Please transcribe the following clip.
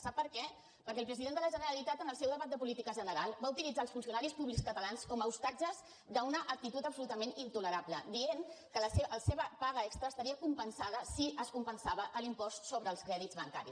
sap per què perquè el president de la generalitat en el seu debat de política general va utilitzar els funcionaris públics catalans com a hostatges d’una actitud absolutament intolerable i va dir que la seva paga extra estaria compensada si es compensava l’impost sobre els crèdits bancaris